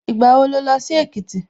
Ìgbà wo la ó lọ sí Èkìtì?